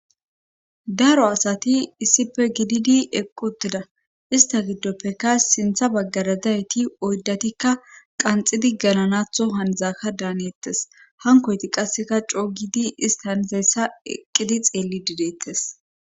daro asati issife gididi eqq utida ista giddoppekka sintha baggara dayeti oyddatikka qanxidi galanatho handzaaka daaneettes hankoyti qasseka coo gidi ista nizayssa eqqidi xeellidi deettes